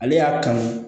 Ale y'a kanu